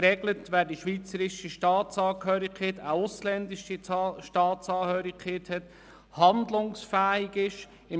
Geregelt ist die Situation bei schweizerischer und bei ausländischer Staatsangehörigkeit und betreffend die Handlungsfähigkeit.